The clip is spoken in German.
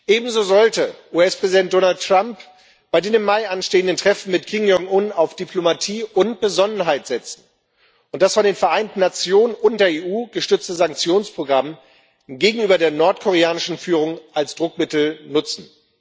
Ebenso sollte US Präsident Donald Trump bei dem im Mai anstehenden Treffen mit Kim Jong-un auf Diplomatie und Besonnenheit setzen und das von den Vereinten Nationen und der EU gestützte Sanktionsprogramm gegenüber der nordkoreanischen Führung als Druckmittel nutzen.